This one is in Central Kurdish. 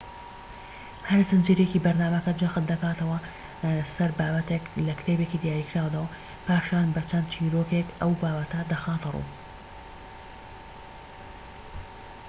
هەر زنجیرەیەکی بەرنامەکە جەخت دەکاتەوە سەر بابەتێك لە کتێبێکی دیاریکراودا و پاشان بە چەند چیرۆکێك ئەو بابەتە دەخاتە ڕوو